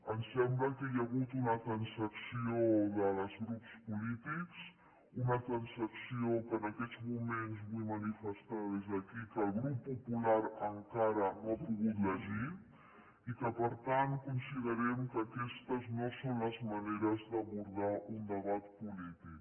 em sembla que hi ha hagut una transacció dels grups polítics una transacció que en aquests moments vull manifestar des d’aquí que el grup popular encara no ha pogut llegir i que per tant considerem que aquestes no són les maneres d’abordar un debat polític